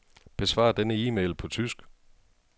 Besvar denne e-mail på tysk.